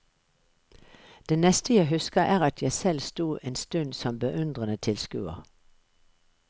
Det neste jeg husker er at jeg selv sto en stund som beundrende tilskuer.